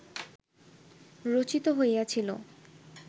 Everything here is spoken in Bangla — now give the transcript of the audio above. রচিত হইয়াছিল